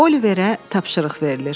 Oliverə tapşırıq verilir.